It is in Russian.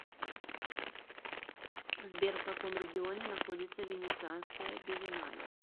сбер в каком регионе находится венецианская биеннале